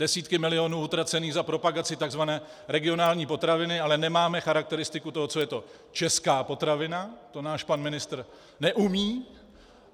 Desítky milionů utracených za propagaci tzv. regionální potraviny, ale nemáme charakteristiku toho, co je to česká potravina, to náš pan ministr neumí.